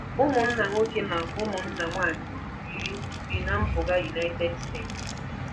Ụmụnna nwoke na ụmụnna nwaanyị iri bi ná mpụga United States.